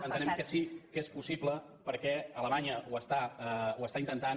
entenem que sí que és possible perquè alemanya ho intenta